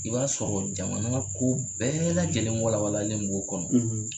I b'a sɔrɔ jamana ko bɛɛ lajɛlen walawalalen b'o kɔnɔ,